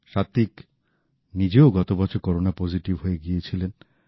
সাত্ত্বিক নিজেও গত বছর করোনা পজিটিভ হয়ে গিয়েছিলেন